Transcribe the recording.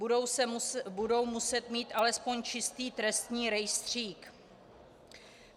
Budou muset mít alespoň čistý trestní rejstřík?